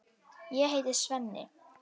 Ég heiti Svenni.